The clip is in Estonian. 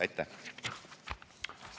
Aitäh!